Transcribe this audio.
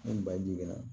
Ni baji kɛra